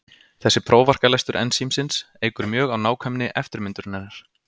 Þessi prófarkalestur ensímsins eykur mjög á nákvæmni eftirmyndunarinnar.